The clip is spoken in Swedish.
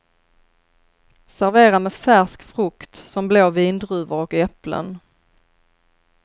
Servera med färsk frukt som blå vindruvor och äpplen.